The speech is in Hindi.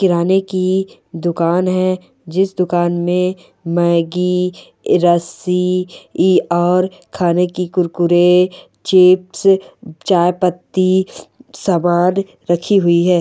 किराने की दुकान है जिस दुकान में मैग्गी रस्सी इ और खाने के कुरकुरे चिप्स चायपत्ती सामान रखी हुई है।